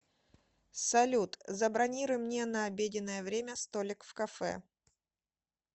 салют забронируй мне на обеденное время столик в кафе